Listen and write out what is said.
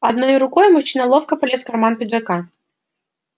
одной рукой мужчина ловко полез в карман пиджака